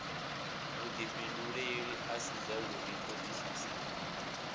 vhudifhinduleli a si zwavhudi thodisiso